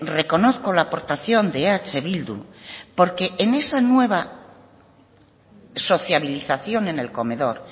reconozco la aportación de eh bildu porque en esa nueva sociabilización en el comedor